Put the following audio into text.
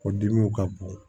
O dimiw ka bon